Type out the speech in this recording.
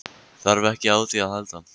Þarf ekki á því að halda.